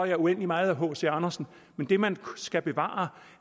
jeg uendelig meget af hc andersen men det man skal bevare